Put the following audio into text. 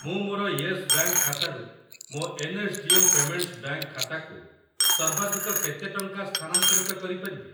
ମୁଁ ମୋର Yes Bank ଖାତାରୁ ମୋ N S D L Payments Bank ଖାତାକୁ ସର୍ବାଧିକ କେତେ ଟଙ୍କା ସ୍ଥାନାନ୍ତରିତ କରିପାରିବି?